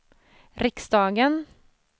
riksdagen